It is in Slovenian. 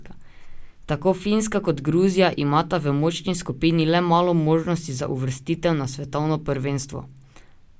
Tako Finska kot Gruzija imata v močni skupini I le malo možnosti za uvrstitev na svetovno prvenstvo.